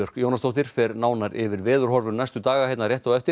Jónasdóttir fer nánar yfir veðurhorfur næstu daga hér rétt á eftir